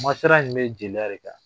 Masala in bɛ jeliya de kan